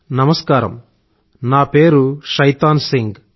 నమస్కారం నా పేరు షైతాన్ సింగ్